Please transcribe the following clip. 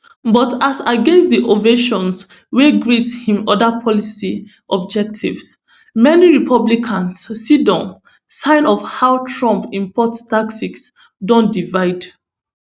but as against di ovations wey greet im oda policy objectives many republicans siddon sign of how trump import taxes don divide